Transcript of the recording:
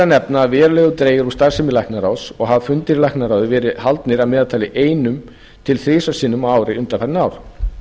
nefna að verulega hefur dregið úr starfsemi læknaráðs og hafa fundir í læknaráði hafa verið haldnir að meðaltali einu sinni til þrisvar á ári undanfarin ár